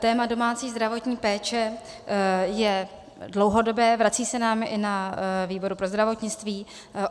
Téma domácí zdravotní péče je dlouhodobé, vrací se nám i na výbor pro zdravotnictví.